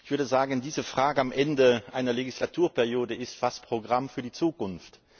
Ich würde sagen, diese Frage am Ende einer Legislaturperiode ist fast Programm für die Zukunft.